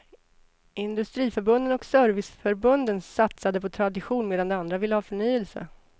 Industriförbunden och serviceförbunden satsade på tradition medan de andra ville ha förnyelse.